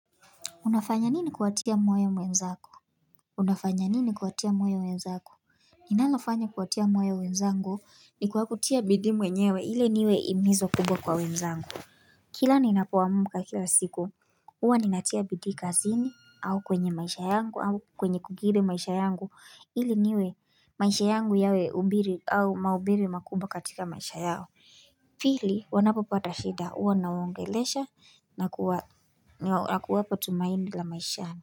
Unafanya nini kuwatia moyo wenzako? Unafanya nini kuatia mwoya mwenzako? Ninalofanya kuwatia moyo wenzangu ni kwa kutia bidii mwenyewe ile niwe himizo kubwa kwa wenzangu. Kila ninapoamka kila siku huwa ninatia bidii kazini au kwenye maisha yangu au kwenye kukiri maisha yangu ili niwe maisha yangu yawe hubiri au maubiri makubwa katika maisha yao. Pili wanapopata shida huwa nawaongelesha na kuwapa tumaini la maishana.